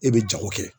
E bɛ jago kɛ